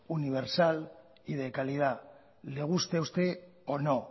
universal y de calidad le guste a usted o no